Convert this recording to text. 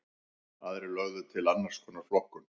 Aðrir lögðu til annars konar flokkun.